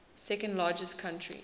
second largest country